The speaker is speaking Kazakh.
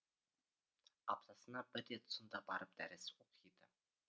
аптасына бір рет сонда барып дәріс оқиды